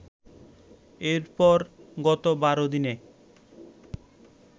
এরপর গত ১২ দিনে